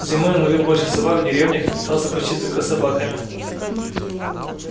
зимой он ловил больше собак в деревнях и питался почти только собаками